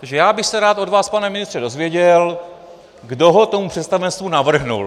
Takže já bych se rád od vás, pane ministře, dozvěděl, kdo ho tomu představenstvu navrhl.